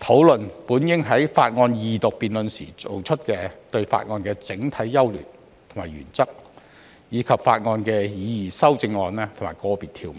討論本應在法案二讀辯論時提出的事項，包括法案的整體優劣和原則，以及法案的擬議修正案或個別條文。